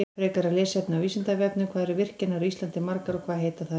Frekara lesefni á Vísindavefnum: Hvað eru virkjanir á Íslandi margar og hvað heita þær?